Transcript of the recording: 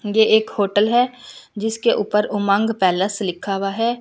ये एक होटल है जिसके ऊपर उमंग पैलेस लिखा हुआ है।